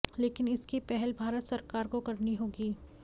लेकिन इसकी पहल भारत सरकार को करनी होगी